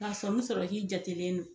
K'a sɔmi sɔrɔ k'i jatelen don